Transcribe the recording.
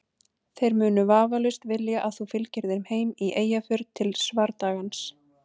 Þeir munu vafalaust vilja að þú fylgir þeim í Eyjafjörð til svardagans.